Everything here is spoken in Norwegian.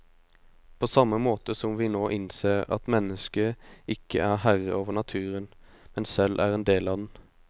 På samme måte som vi nå innser at mennesket ikke er herre over naturen, men selv er en del av den.